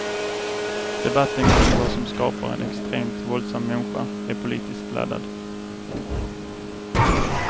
Debatten kring vad som skapar en extremt våldsam människa är politiskt laddad.